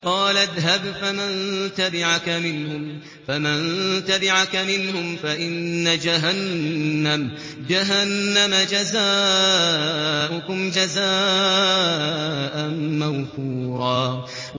قَالَ اذْهَبْ فَمَن تَبِعَكَ مِنْهُمْ فَإِنَّ جَهَنَّمَ جَزَاؤُكُمْ جَزَاءً مَّوْفُورًا